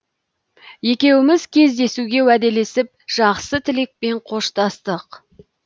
екеуіміз кездесуге уәделесіп жақсы тілекпен қоштастық